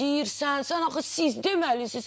Sən axı siz deməlisiz.